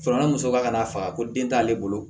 ni muso ka n'a faga ko den t'ale bolo